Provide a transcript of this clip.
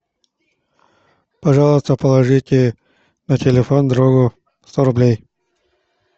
пожалуйста положите на телефон другу сто рублей